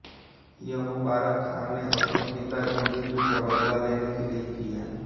यह मुबारक खाँ ने अपने पिता की मृत्यु का बदला लेने के लिए किया